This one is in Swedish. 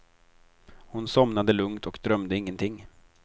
Hon somnade lugnt och drömde ingenting.